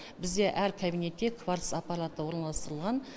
бізде әр кабинетте кварц аппараты орналастырылған